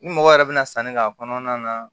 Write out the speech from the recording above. Ni mɔgɔ yɛrɛ bɛ na sanni k'a kɔnɔna na